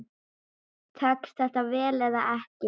Tekst þetta vel eða ekki?